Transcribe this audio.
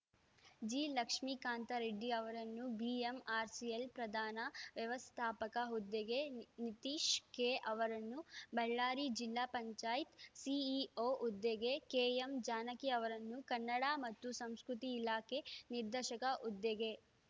ಜಿಲಕ್ಷ್ಮೇಕಾಂತರೆಡ್ಡಿ ಅವರನ್ನು ಬಿಎಂಆರ್‌ಸಿಎಲ್‌ ಪ್ರಧಾನ ವ್ಯವಸ್ಥಾಪಕ ಹುದ್ದೆಗೆ ನಿತೀಶ್‌ ಕೆಅವರನ್ನು ಬಳ್ಳಾರಿ ಜಿಲ್ಲಾ ಪಂಚಾಯತ್‌ ಸಿಇಒ ಹುದ್ದೆಗೆ ಕೆಎಂಜಾನಕಿ ಅವರನ್ನು ಕನ್ನಡ ಮತ್ತು ಸಂಸ್ಕೃತಿ ಇಲಾಖೆ ನಿರ್ದೇಶಕ ಹುದ್ದೆಗೆ